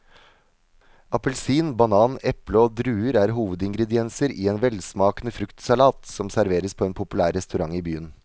Appelsin, banan, eple og druer er hovedingredienser i en velsmakende fruktsalat som serveres på en populær restaurant i byen.